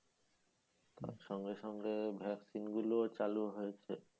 আর সঙ্গে সঙ্গে ভ্যাকসিন গুলো চালু হয়েছে